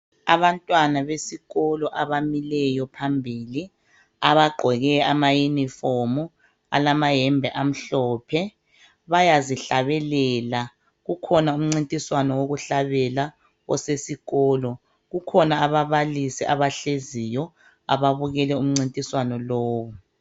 Abantwana besikolo abamileyo phambili abagqoke amauniform alamayembe amhlophe bayazihlabelela kukhona umncintiswano wokuhlabela osesikolo. Kukhona ababalisi abahleziyo ababukele umncintiswano lowu.